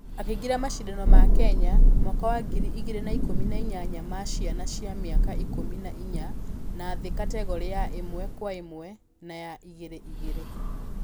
Akĩingera mashidano ma kenya...mwaka wa ngiri igĩrĩ na ikũmi na inyanya ma ciana cia mĩaka ikũmi na inya na thĩ kategore ya ĩmwekwaĩmwe na ya igĩrĩ igĩri.